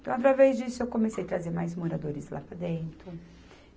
Então, através disso, eu comecei trazer mais moradores lá para dentro.